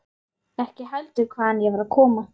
Ekki heldur hvaðan ég var að koma.